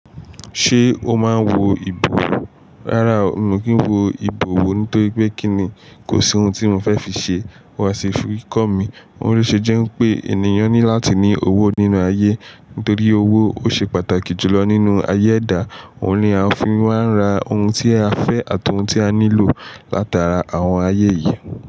Ṣé o máa ń wo ìbò? Rárá, mi ò kí ń wo ìbò wò nítorí pé kí ni? Kò sí ohun tí mo fẹ́ fi ṣe. Wàá ṣe fíkọ́ọ̀mì. Òun le ṣe jẹ́ n pé ènìyàn ní láti ní owó nínú ayé. Nítorí owó, o ṣe pàtàkì jùlọ nínú ayé ẹ̀dá. Òun ni a fi máa ń ra ohun tí a fẹ́ àti ohun tí a nílò látara àwọn ayé yìí.